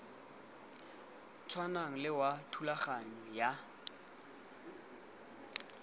tshwanang le wa thulaganyo ya